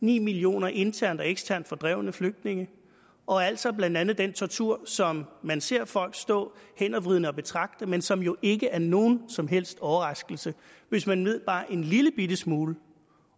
ni millioner internt og eksternt fordrevne flygtninge og altså blandt andet den tortur som man ser folk stå hændervridende og betragte men som jo ikke er nogen som helst overraskelse hvis man ved bare en lillebitte smule